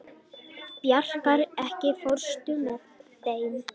Bjarkar, ekki fórstu með þeim?